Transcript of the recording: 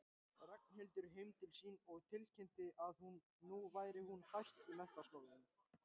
Ragnhildur heim til sín og tilkynnti að nú væri hún hætt í menntaskólanum.